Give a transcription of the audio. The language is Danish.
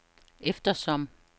eftersom